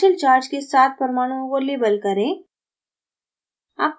partial charge के साथ परमाणुओं को label करें